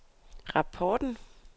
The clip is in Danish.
rapporten